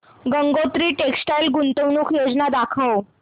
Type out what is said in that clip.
Gangotri textile गुंतवणूक योजना दाखव